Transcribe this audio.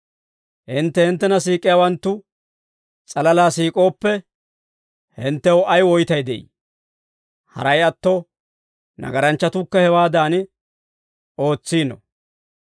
Hintte hinttena siik'iyaawanttu s'alalaa siik'ooppe, hinttew ay woytay de'ii? Haray atto, nagaranchchatuukka hewaadan ootsiino.